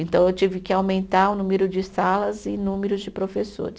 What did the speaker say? Então, eu tive que aumentar o número de salas e números de professores.